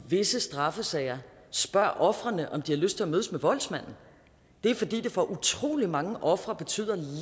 visse straffesager spørger ofrene om de har lyst til at mødes med voldsmanden det er fordi det for utrolig mange ofre betyder